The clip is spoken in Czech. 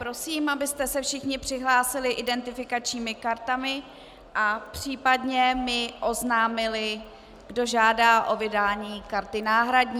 Prosím, abyste se všichni přihlásili identifikačními kartami a případně mi oznámili, kdo žádá o vydání karty náhradní.